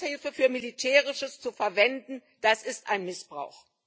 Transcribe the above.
Entwicklungshilfe für Militärisches zu verwenden, ist ein Missbrauch.